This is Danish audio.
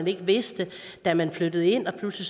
eller vidste da man flyttede ind pludselig